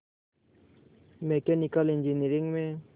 mechanical engineering में